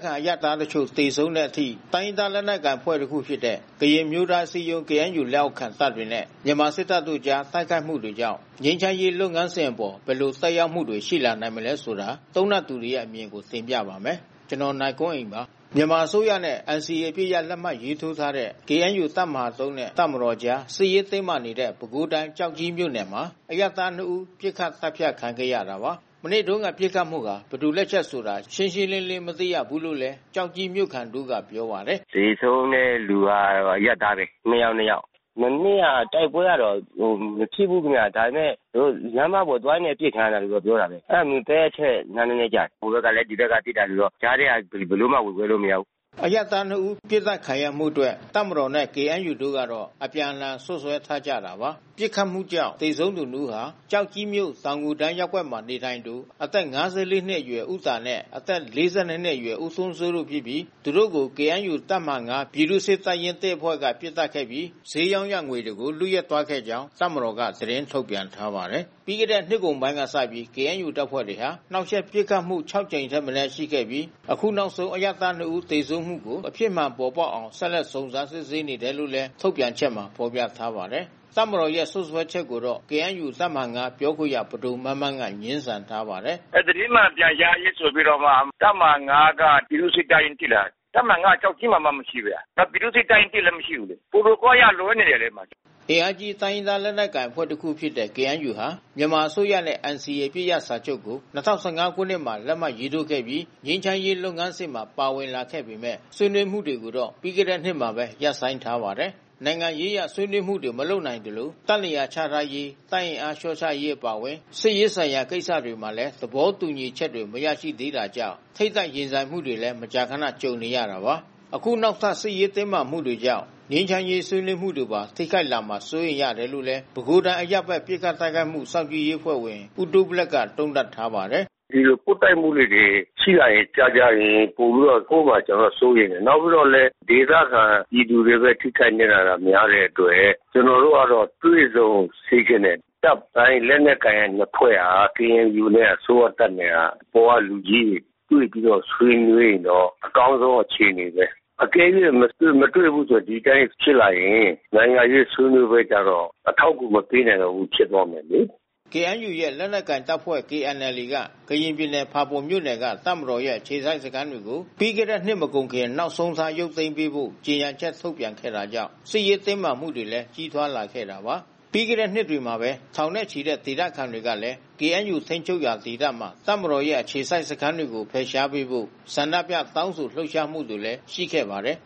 ခံအရပ်သားတချို့ သေဆုံးတဲ့အထိ တိုင်းရင်းသား လက်နက်ကိုင်အဖွဲ့ တခုဖြစ်တဲ့ ကရင်အမျိုးသားအစည်းအရုံး KNU လက်အောက်ခံ တပ်တွေနဲ့ မြန်မာစစ်တပ်ကြား တိုက်ခိုက်မှုတွေကြောင့် ငြိမ်းချမ်းရေး လုပ်ငန်းစဉ်အပေါ် ဘယ်လိုသက်ရောက်မှုတွေ ရှိလာနိုင်သလဲဆိုတာ သုံးသပ်သူတွေရဲ့ အမြင်ကို ဗွီအိုအေမြန်မာပိုင်း သတင်းထောက် ကိုနိုင်ကွန်းအိန်က တင်ပြပါမယ်။ မြန်မာအစိုးရနဲ့ NCA အပစ်ရပ်လက်မှတ်ထိုးထားတဲ့ ကရင်အမျိုးသားအစည်းအရုံး KNU တပ်မဟာ ၃ နဲ့ တပ်မတော်ကြား စစ်ရေးတင်းမာနေတဲ့ ပဲခူးတိုင်း၊ ကျောက်ကြီးမြို့နယ်မှာ အရပ်သား နှစ်ဦး ပစ်ခတ်သတ်ဖြတ်ခံခဲ့ရတာပါ။ မနေ့တုန်းက ပစ်ခတ်မှုဟာ ဘယ်သူ့လက်ချက်ဆိုတာတော့ ရှင်းရှင်းလင်းလင်း မသိရဘူးလို့လည်း ကျောက်ကြီးမြို့ခံတဦးကပြောပါတယ်။ “သေဆုံးတဲ့သူက အရပ်သားပဲ။ နှစ်ယောက်။ မနေ့ကတိုက်ပွဲကတော့ မဖြစ်ဘူးခင်ဗျ။ ဒါပေမဲ့ သူတို့ လမ်းမပေါ်သွားရင်းနဲ့ အပစ်ခံရတယ်လို့ ပြောတယ်။ အဲဒါ မူသဲအထက် လမ်းနည်းနည်း ကျတယ်။ ဟိုဘက်ကလည်း ဒီဘက်ကပစ်တာ ဆိုပြီးတော့ ကြားထဲကဆို ဘယ်လိုမှပြောလို့မရဘူး။” အရပ်သား နှစ် ဦး ပစ်သတ်ခံရမှုအတွက် တပ်မတော်နဲ့ KNU တို့ကတော့ အပြန်အလှန် စွပ်စွဲထားကြတာပါ။ ပစ်ခတ်မှုကြောင့် သေဆုံးသွားသူ နှစ် ဦးဟာ ကျောက်ကြီးမြို့၊ တောင်ငူတန်း ရပ်ကွက်မှာနေထိုင်သူ အသက် ၅၄ နှစ်အရွယ် ဦးတာနဲ့ အသက် ၄၂ နှစ်အရွယ် ဦးထွန်းစိုးတို့ဖြစ်ပြီး သူတို့ကို KNU တပ်မဟာ ၅ ပြည်သူ့စစ်တပ်ရင်း ၁ အဖွဲ့က ပစ်သတ်ခဲ့ပြီး ဈေးရောင်းရ ငွေတွေကို လုယက်သွားခဲ့ကြောင်း တပ်မတော်က သတင်းထုတ်ပြန်ထားပါတယ်။ ပြီးခဲ့တဲ့နှစ်ကုန်ပိုင်းကစပြီး KNU တပ်ဖွဲ့တွေက နှောင့်ယှက်ပစ်ခတ်မှု ၆ ကြိမ်ထက်မနည်း ရှိခဲ့ပြီး အခုနောက်ဆုံး အရပ်သား နှစ် ဦး သေဆုံးမှုကို အဖြစ်မှန်ပေါ်ပေါက်အောင် ဆက်လက်စုံစမ်းစစ်ဆေးနေတယ်လို့လည်း ထုတ်ပြန်ချက်မှာ ဖော်ပြထားပါတယ်။ တပ်မတော်ရဲ့ စွပ်စွဲချက်ကိုတော့ KNU တပ်မဟာ ၅ ပြောခွင့်ရ ပဒိုမန်းမန်းက ငြင်းဆန်ထားပါတယ်။ “သတင်းမှန်ပြန်ကြားရေးဆိုပြီးတော့မှ တပ်မဟာ ၅ က ပြည်သူ့စစ်တပ်ရင်းရှိလား။ တပ်မဟာ ၅ ကကျောက်ကြီးမှာမှ မရှိဘဲ။ ပြည်သူ့စစ်တပ်ရင်း ၁ လည်း မရှိဘူး။ protocol အရလွဲနေတယ်လေ။” အင်အားကြီး တိုင်းရင်းသား လက်နက်ကိုင် အဖွဲ့တခုဖြစ်တဲ့ KNU ဟာ မြန်မာအစိုးရနဲ့ NCA အပစ်ရပ်စာချုပ်ကို ၂၀၁၅ ခုနှစ်မှာ လက်မှတ်ရေးထိုးပြီး ငြိမ်းချမ်းရေး လုပ်ငန်းစဉ်မှာ ပါဝင်လာခဲ့ပေမဲ့ ဆွေးနွေးမှုတွေကိုတော့ ပြီးခဲ့တဲ့နှစ်ထဲမှာပဲ ရပ်ဆိုင်းထားပါတယ်။ နိုင်ငံရေးအရ ဆွေးနွေးမှုတွေ မလုပ်နိုင်သလို၊ တပ်နေရာချထားရေး၊ တပ်အင်အားလျှော့ချရေး အပါအဝင် စစ်ရေးဆိုင်ရာ ကိစ္စတွေမှာလည်း သဘောတူညီချက်တွေ မရရှိသေးတာကြောင့် ထိပ်တိုက်ရင်ဆိုင်မှုတွေလည်း မကြာခဏ ကြုံနေရတာပါ။ အခုနောက်ထပ် စစ်ရေးတင်းမာမှုတွေကြောင့် ငြိမ်းချမ်းရေး ဆွေးနွေးမှုတွေကိုပါ ထိခိုက်လာမှာ စိုးရိမ်ရတယ်လို့လည်း ပဲခူးတိုင်း အရပ်ဘက် ပစ်ခတ်တိုက်ခိုက်မှု စောင့်ကြည့်ရေးအဖွဲ့ဝင် ဦးတူးဘလက်က သုံးသပ်ပါတယ်။ “ဒီလို ပွတ်တိုက်မှုလေးတွေ ရှိလာရင် ကြာကြာရင် ပိုပြီးတော့ဆိုးမှာ ကျနော်က စိုးရိမ်တယ်။ နောက်ပြီးတော့လည်း ဒေသခံပြည်သူတွေပဲ ထိခိုက်နစ်နာတာများတဲ့အတွက် ကျနော်တို့ကတော့တွေ့ဆုံစေချင်တယ်။ တပ်ပိုင်း၊ လက်နက်ကိုင်နှစ်ဖွဲ့ဟာ KNU နဲ့ အစိုးရတပ်နဲ့က အပေါ်ကလူကြီးတွေ တွေ့ပြီးတော့ ဆွေးနွေးရင်တော့ အကောင်းဆုံး အခြေအနေပဲ။ အကယ်၍ မတွေ့ဘူးဆိုရင် ဒီအတိုင်းဖြစ်လာရင် နိုင်ငံရေးဆွေးနွေးပွဲကျတော့ အထောက်အကူ မပေးနိုင်တော့ဘူး ဖြစ်သွားမယ်လေ။” KNU ရဲ့ လက်နက်ကိုင်တပ်ဖွဲ့ KNLA က ကရင်ပြည်နယ်၊ ဖာပွန်မြို့နယ်က တပ်မတော်ရဲ့ အခြေစိုက်စခန်းတွေကို ပြီးခဲ့တဲ့နှစ်မကုန်ခင် နောက်ဆုံးထား ရုပ်သိမ်းပေးဖို့ ကြေညာချက်ထုတ်ပြန်ခဲ့တာကြောင့် စစ်ရေးတင်းမာမှုတွေလည်း ကြီးထွားလာခဲ့တာပါ။ ပြီးခဲ့တဲ့နှစ်ထဲမှာပဲ ထောင်နဲ့ချီတဲ့ ဒေသခံတွေကလည်း KNU ထိန်းချုပ်ရာ ဒေသမှာ တပ်မတော်ရဲ့ အခြေစိုက်စခန်းတွေ ဖယ်ရှားပေးဖို့ ဆန္ဒပြတောင်းဆို လှုပ်ရှားမှုတွေလည်း ရှိခဲ့ပါတယ်